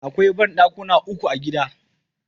Akwai banɗakuna uku a gidan.